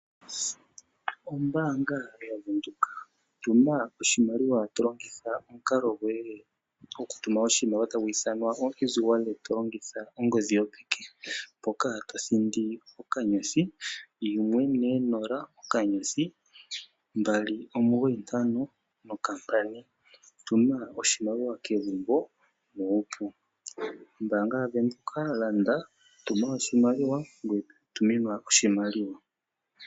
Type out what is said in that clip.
Ombaanga yaVenduka Tuma oshimaliwa to longitha omukalo goye gokutuma oshimaliwa to longitha ongodhi yopeke, mpoka to thindi *140*295#. Tuma oshimaliwa kegumbo nuupu. Ombaanga yaVenduka, tuma oshimaliwa ngoye tuminwa oshimaliwa.